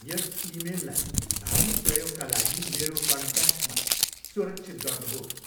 यस इमेललाई भावी प्रयोगका लागि मेरो कन्ट्याक्टमा सुरक्षित गर्नुहोस्।